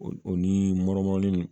O o ni